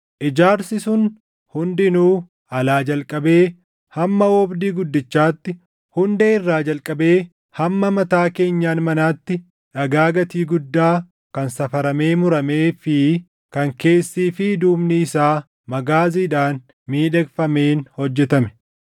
Ijaarsi sun hundinuu alaa jalqabee hamma oobdii guddichaatti, hundee irraa jalqabee hamma mataa keenyan manaatti dhagaa gatii guddaa kan safaramee muramee fi kan keessii fi duubni isaa magaaziidhaan miidhagfameen hojjetame.